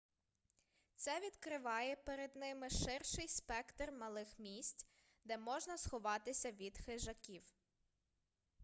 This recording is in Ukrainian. це відкриває перед ними ширший спектр малих місць де можна сховатися від хижаків